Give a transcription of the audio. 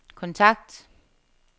kontakt